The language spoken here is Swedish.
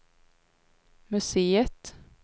museet